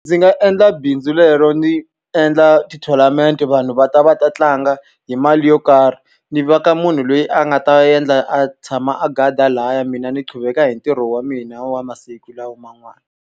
Ndzi nga endla bindzu lero ni endla ti-tournament vanhu va ta va ta tlanga hi mali yo karhi. Ni veka munhu loyi a nga ta endla a tshama a guard-a lahaya mina ni quveka hi ntirho wa mina wa masiku lawa man'wana.